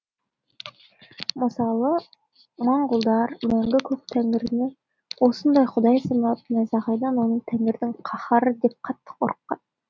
мысалы маңғұлдар мәңгі көк тәңіріні осындай құдай санап найзағайдан оны тәңірінің каһары деп қатты қорыққан